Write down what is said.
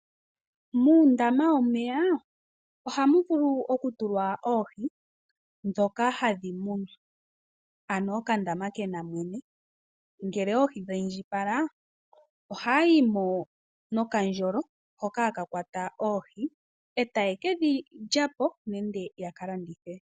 Muundama womeya ohamu vulu okutulwa oohi dhoka hadhi munwa, ano okandama kena mwene, ngele oohi dhi indjipala ohaya yimo nokandjolo hoka haka kwata oohi e tayekedhi lya po nenge yakalandithe.